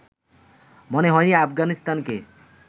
মনে হয়নি আফগানিস্তানকে